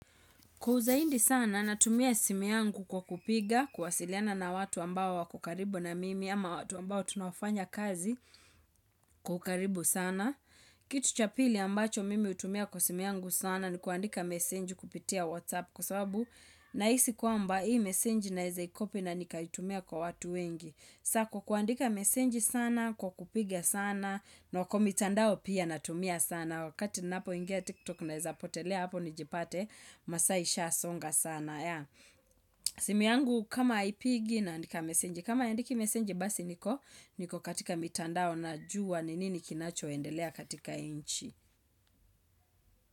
Kuu zaindi sana natumia simu yangu kwa kupiga kuwasiliana na watu ambao wako karibu na mimi ama watu ambao tunaofanya kazi kwa ukaribu sana. Kitu cha pili ambacho mimi hutumia kwa simu yangu sana ni kuandika message kupitia WhatsApp kwa sabu nahisi kwamba hii messeange naeza i copy na nikaitumia kwa watu wengi. Sako kuandika mesenji sana, kwa kupiga sana, na kwa mitandao pia natumia sana, wakati napoingia tiktok naeza potelea hapo nijipate masaa ishasonga sana. Simu yangu kama haipigi naandika mesenji, kama haindiki mesenji basi niko katika mitandao najua ni nini kinachoendelea katika nchi.